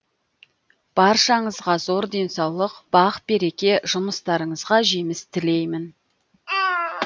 баршаңызға зор денсаулық бақ береке жұмыстарыңызға жеміс тілеймін